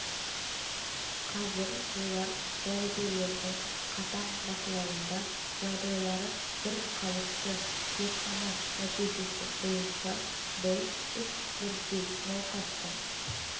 қазір олар дәрігерлердің қатаң бақылауында жағдайлары бірқалыпты зертхана нәтижесі бойынша бұл үш бірдей науқастың